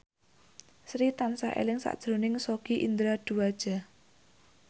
Sri tansah eling sakjroning Sogi Indra Duaja